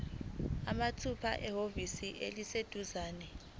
mathupha ehhovisi eliseduzane